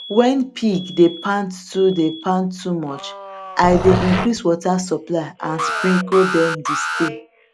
when pig dey pant too dey pant too much i dey increase water supply and sprinkle dem de stay